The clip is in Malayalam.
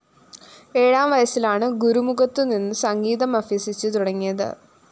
ഏഴാം വയസിലാണ് ഗുരുമുഖത്തു നിന്ന് സംഗീതം അഭ്യസിച്ചു തുടങ്ങിയത്